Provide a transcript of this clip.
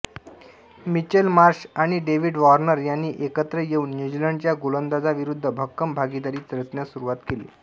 Mitchell Marsh आणि David Warner यांनी एकत्र येऊन न्यूझीलंडच्या गोलंदाजीविरुद्ध भक्कम भागीदारी रचण्यास सुरुवात केली